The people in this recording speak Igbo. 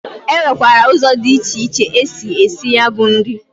E nwekwara ụzọ dị iche iche esi esi ya bụ nri.